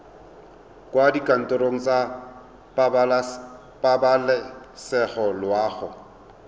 kwa dikantorong tsa pabalesego loago